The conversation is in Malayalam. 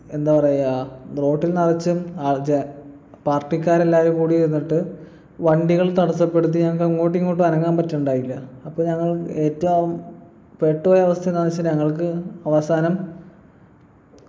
എന്താ പറയാ road ൽ നിറച്ചും party ക്കാരെല്ലാരും കൂടി നിന്നിട്ട് വണ്ടികൾ തടസ്സപ്പെടുത്തി ഞങ്ങക്കങ്ങോട്ടും ഇങ്ങോട്ടും അനങ്ങാൻ പറ്റുണ്ടായില്ല അപ്പൊ ഞങ്ങള് ഏറ്റ ആവും പെട്ട് പോയ അവസ്ഥയെന്താന്ന് വെച്ച ഞങ്ങക്ക് അവസാനം